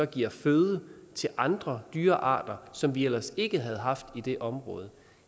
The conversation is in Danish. giver føde til andre dyrearter som vi ellers ikke havde haft i det område